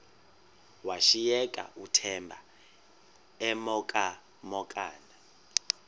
washiyeka uthemba emhokamhokana